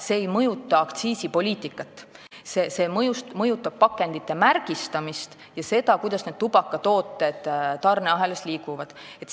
Eelnõu ei mõjuta aktsiisipoliitikat, see mõjutab pakendite märgistamist ja seda, kuidas tubakatooted tarneahelas liiguvad.